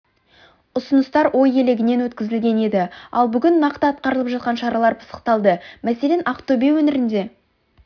ұсыныстар ой елегінен өткізіліген еді ал бүгін нақты атқарылып жатқан шаралар пысықталды мәселен ақтөбе өңірінде